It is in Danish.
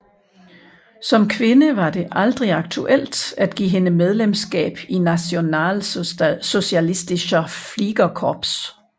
Som kvinde var det aldrig aktuelt at give hende medlemskab i Nationalsozialistisches Fliegerkorps